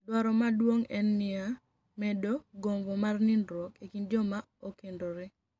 Dwaro maduonig' eni mania medo gombo mag niinidruok e kinid joma okenidore.